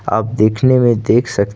आप देखने में देख सकते--